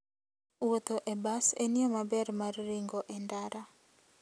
Wuotho e bas en yo maber mar ringo e ndara.